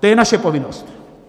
To je naše povinnost.